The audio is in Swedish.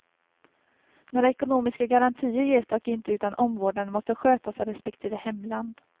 Några ekonomiska garantier ges dock inte utan omvårdnaden måste skötas av respektive hemland.